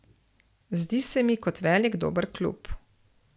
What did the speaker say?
Zdi se mi kot velik dober klub.